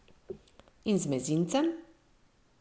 In z mezincem?